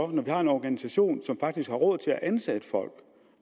vi har en organisation som faktisk har råd til at ansætte folk